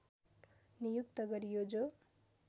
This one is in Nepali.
नियुक्त गरियो जो